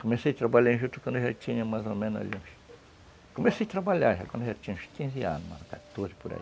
Comecei a trabalhar em juta quando eu já tinha mais ou menos aí uns... Comecei a trabalhar já quando eu já tinha uns quinze anos, quatorze por aí.